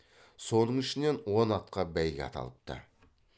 соның ішінен он атқа бәйге аталыпты